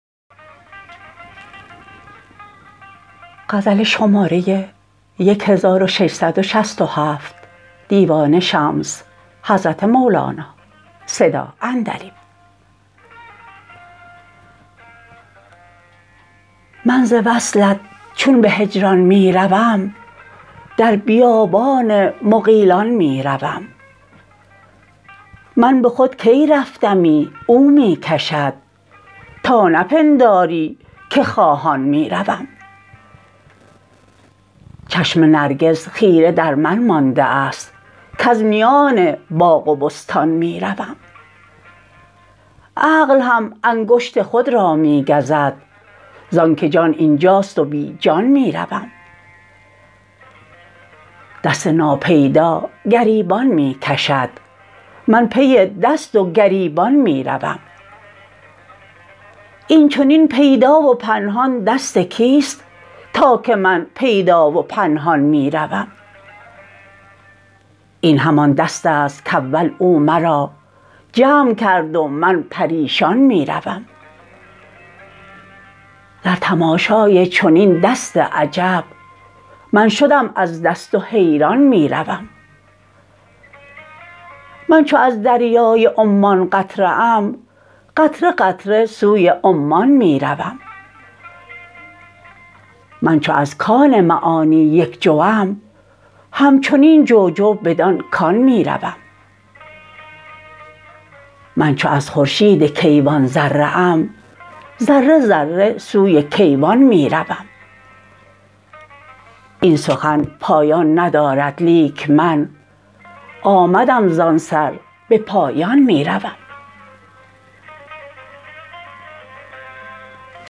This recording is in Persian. من ز وصلت چون به هجران می روم در بیابان مغیلان می روم من به خود کی رفتمی او می کشد تا نپنداری که خواهان می روم چشم نرگس خیره در من مانده ست کز میان باغ و بستان می روم عقل هم انگشت خود را می گزد زانک جان این جاست و بی جان می روم دست ناپیدا گریبان می کشد من پی دست و گریبان می روم این چنین پیدا و پنهان دست کیست تا که من پیدا و پنهان می روم این همان دست است کاول او مرا جمع کرد و من پریشان می روم در تماشای چنین دست عجب من شدم از دست و حیران می روم من چو از دریای عمان قطره ام قطره قطره سوی عمان می روم من چو از کان معانی یک جوم همچنین جو جو بدان کان می روم من چو از خورشید کیوان ذره ام ذره ذره سوی کیوان می روم این سخن پایان ندارد لیک من آمدم زان سر به پایان می روم